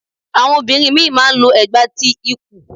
Àwọn obìnrin ìmí ì má a n lo ẹ̀gbà ti ikù